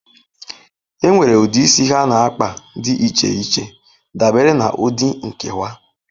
Enwere ụdị isi ha na kpa dị iche iche dabere na ụdị nkewa.